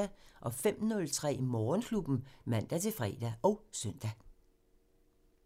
05:03: Morgenklubben (man-fre og søn)